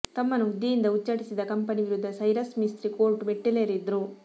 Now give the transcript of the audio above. ತಮ್ಮನ್ನು ಹುದ್ದೆಯಿಂದ ಉಚ್ಛಾಟಿಸಿದ್ದ ಕಂಪನಿ ವಿರುದ್ಧ ಸೈರಸ್ ಮಿಸ್ತ್ರಿ ಕೋರ್ಟ್ ಮೆಟ್ಟಿಲೇರಿದ್ರು